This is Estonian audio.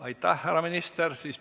Aitäh, härra minister!